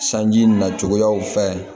Sanji nacogow fɛ